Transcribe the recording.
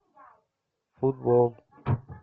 футбол